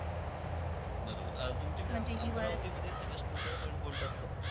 बरोबर. तुमच्याकडे अमरावतीमध्ये सगळ्यात मोठा सण कोणता असतो?